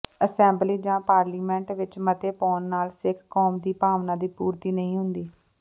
assembly ਜਾਂ parliament ਵਿੱਚ ਮਤੇ ਪਾਉਣ ਨਾਲ ਸਿੱਖ ਕੌਮ ਦੀ ਭਾਵਨਾ ਦੀ ਪੂਰਤੀ ਨਹੀਂ ਹੁੰਦੀ